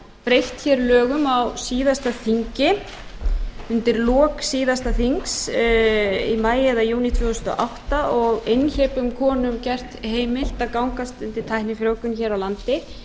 breytt hér lögum á síðasta þingi undir lok síðasta þings í maí eða júní tvö þúsund og átta og einhleypum konum gert heimilt að gangast undir tæknifrjóvgun hér á landi